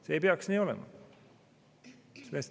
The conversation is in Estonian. See ei peaks nii olema.